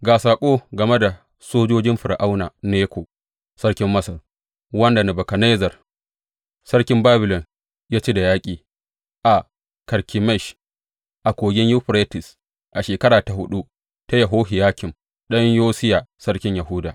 Ga saƙo game da sojojin Fir’auna Neko sarkin Masar, wanda Nebukadnezzar sarkin Babilon ya ci da yaƙi a Karkemish a Kogin Yuferites a shekara ta huɗu ta Yehohiyakim ɗan Yosiya sarkin Yahuda.